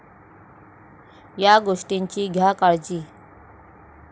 या' गोष्टींची घ्या काळजी